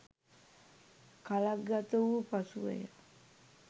කලක් ගත වූ පසුවය.